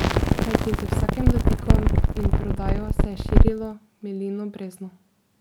Kajti z vsakim dotikom in prodajo se je širilo Milino brezno.